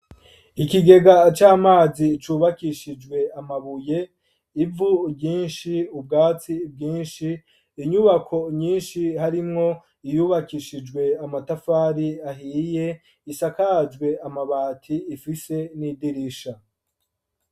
Ikigega c'amazi vyubakishijwe amabuye, ivu ryinshi, ubwatsi bwinshi, inyubako nyinshi harimwo iyubakishijwe amatafari ahiye, isakajwe amabati, ifise n'idirisha.